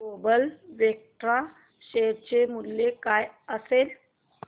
global Vectra share चे मूल्य काय असेल